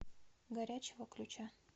горячего ключа